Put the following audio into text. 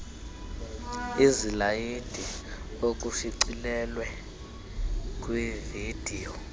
izilayidi okushicilelwe kwividiyo